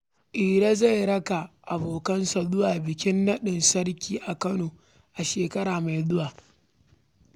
Iro zai raka abokansa zuwa bikin naɗin sarki a Kano a shekara mai zuwa.